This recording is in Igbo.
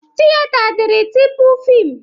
Tiyeta dịrị tupu fịmụ